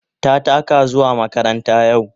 Ta taka zuwa makaranta yau.